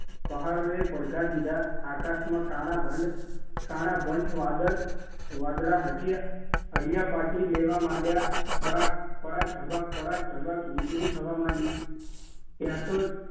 પહાડોએ પડઘા દીધા આકાશમાં કાળા ભંડ કાળાભંઠ વાદળ વાદળા હટીયા હડિયાપાટી લેવા માંડ્યા પળાક પળાક ધબક પળાક ધબક વીજળી થવા માંડી ત્યાં તો